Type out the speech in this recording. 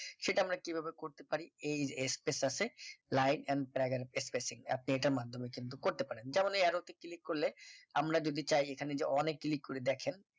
সেটা আমরা কিভাবে করতে পারি এই space আছে play and trogger spacing আপনি এটার মাধ্যমে কিন্তু করতে পারেন ধরেন এই arrow তে click করলে আমরা যদি চাই এখানে যে অনেক click করে দেখেন